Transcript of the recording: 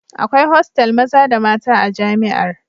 Akwai hostel maza da mata a jami'ar